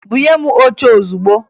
Bunye m oche ozugbo!